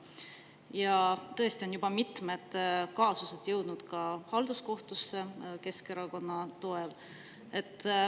Ja tõesti on juba mitmed kaasused jõudnud Keskerakonna toel ka halduskohtusse.